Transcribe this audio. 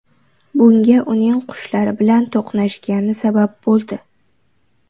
Bunga uning qushlar bilan to‘qnashgani sabab bo‘ldi.